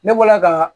Ne bɔla ka